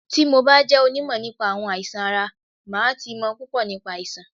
Tí mo bá jẹ́ onímọ̀ nípa àwọn àìsàn ara, màá ti mọ̀ púpò nípa àìsàn.